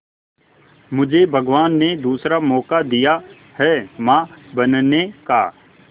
मुझे भगवान ने दूसरा मौका दिया है मां बनने का